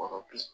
Wɔɔrɔ bi